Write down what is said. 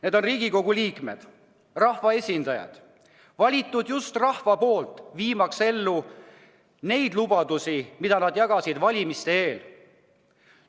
Need on Riigikogu liikmed, rahva esindajad, valitud just rahva poolt viimaks ellu neid lubadusi, mida nad jagasid valimiste eel.